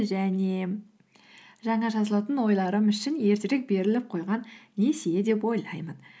және жаңа жазылатын ойларым үшін ертерек беріліп қойған несие деп ойлаймын